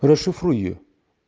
расшифруй её